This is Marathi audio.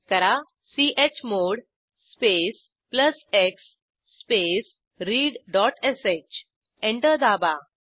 टाईप करा chmod space plus x space readश एंटर दाबा